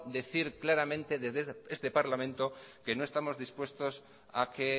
decir claramente desde este parlamento que no estamos dispuestos a que